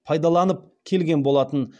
пайдаланып келген болатын